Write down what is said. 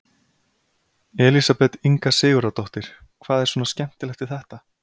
Elísabet Inga Sigurðardóttir: Hvað er svona skemmtilegt við þetta?